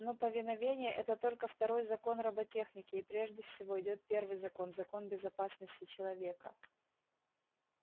но повиновение это только второй закон роботехники и прежде всего идёт первый закон закон безопасности человека